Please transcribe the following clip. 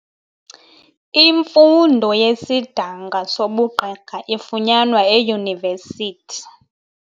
Imfundo yesidanga sobugqirha ifunyanwa eyunivesithi.